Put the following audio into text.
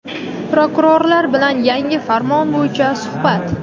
Prokurorlar bilan yangi farmon bo‘yicha suhbat.